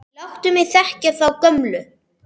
Láttu mig þekkja þá gömlu!